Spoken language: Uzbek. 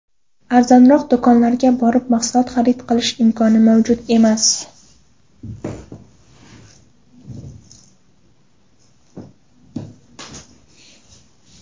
Arzonroq do‘konlardan borib mahsulot xarid qilish imkoni mavjud emas.